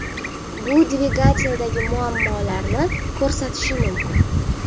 Bu dvigateldagi muammolarni ko‘rsatishi mumkin.